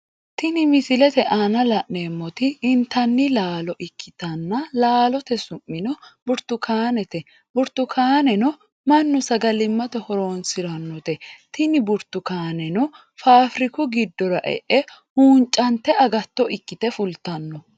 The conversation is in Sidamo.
Tini misilete aanna la'neemoti intanni laalo ikitanna laalote su'mino burtukaanete burtukaaneno Manu sagalimate horoonsiranote tinni burtukaneno faafiriku gidora e'e huuncante agatto ikite fultano.